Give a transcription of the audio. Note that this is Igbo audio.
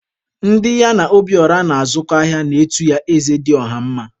Ndị ya na Obiora na-azụkọ ahịa na-etu ya Eze dị ọha mma.